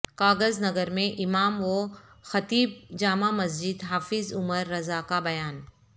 کاغذ نگر میں امام و خطیب جامع مسجد حافظ عمر رضا کا بیان